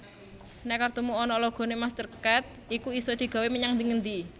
Nek kartumu onok logone MasterCard iku isok digawe menyang ngendi endi